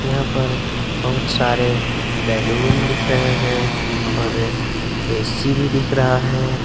यहां पर बहुत सारे बैलून दिख रहे हैं और ए_सी भी दिख रहा है।